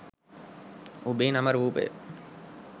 ඔබේ නම රූපය